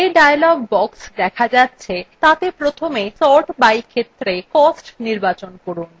যে dialog box দেখা যাচ্ছে তাতে প্রথমে sort by ক্ষেত্রে cost নির্বাচন করুন